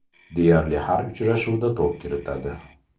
Deyarli har uchrashuvda to‘p kiritadi.